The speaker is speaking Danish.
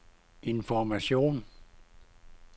information